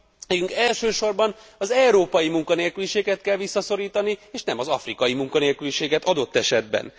Nekünk elsősorban az európai munkanélküliséget kell visszaszorítani és nem az afrikai munkanélküliséget adott esetben.